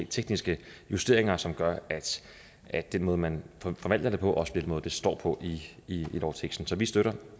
tekniske justeringer som gør at den måde man forvalter det på også bliver den måde det står på i lovteksten så vi støtter